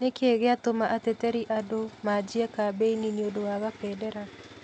Nĩ kĩĩ gĩatũma ateteri andũ maajie kambeni nĩũndũ wa Kabendera?